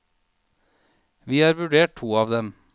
Vi har vurdert to av dem.